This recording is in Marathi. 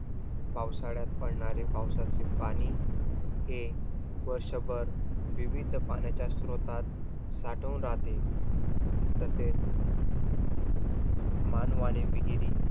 पावसाळ्यात पडणारे पावसाचे पाणी, हे वर्षभर विविध पाण्याच्या स्रोतात साठून राहते. तसेच मानवाने विहिरी